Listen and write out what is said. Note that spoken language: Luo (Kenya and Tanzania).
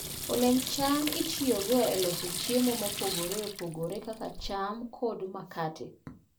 Olemb cham itiyogo e loso chiemo mopogore opogore kaka cham kod makate.